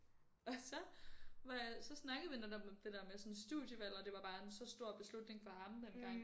Og så var jeg så snakkede vi netop om det der med sådan studievalg og det var bare en så stor beslutning for ham dengang